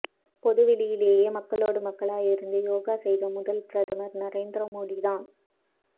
பொதுவெளியிலே மக்களோடு மக்களாக இருந்து யோகா செய்த முதல் பிரதமர் நரேந்திர மோடி தான்